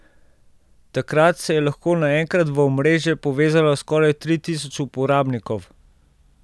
Takrat se je lahko naenkrat v omrežje povezalo skoraj tri tisoč uporabnikov.